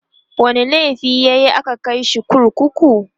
wani laifi yayi a ka Kai shi kurkuku?